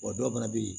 Wa dɔw fana bɛ yen